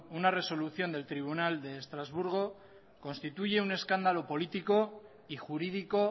una resolución del tribunal de estrasburgo constituye un escándalo político y jurídico